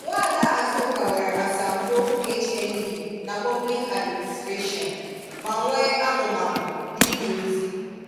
Nwaada Azuka nwere asambo HND na 'Public Administration' ma nwee amumamụ n'ịje ozi